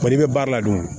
Kɔni bɛ baara la dun